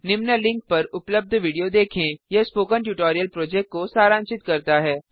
निम्न लिंक पर उपलब्ध वीडियो देखें यह स्पोकन ट्यूटोरियल प्रोजेक्ट को सारांशित करता है